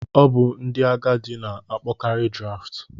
Ọ bụ ndị agadi na-akpọkarị Draft.